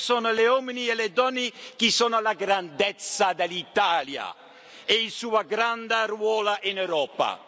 Questi sono gli uomini e le donne che fanno la grandezza dell'Italia e il suo grande ruolo in Europa.